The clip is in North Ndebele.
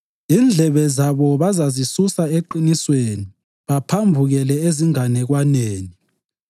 Indlebe zabo bazazisusa eqinisweni baphambukele ezinganekwaneni.